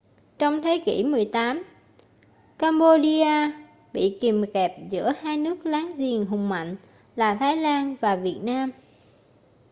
trong thế kỷ 18 cambodia bị kìm kẹp giữa hai nước láng giềng hùng mạnh là thái lan và việt nam